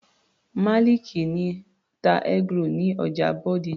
Maliki ń ta eggroll ní ọjà Bódìjà.